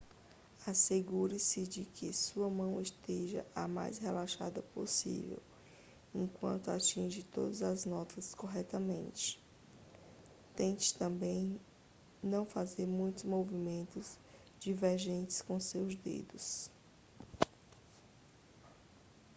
assegure-se de que a sua mão esteja o mais relaxada possível enquanto atinge todas as notas corretamente tente também não fazer muitos movimentos divergentes com seus dedos